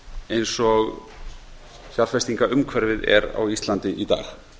eins og fjárfestingarumhverfið er á íslandi í dag